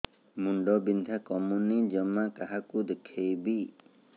ମୁଣ୍ଡ ବିନ୍ଧା କମୁନି ଜମା କାହାକୁ ଦେଖେଇବି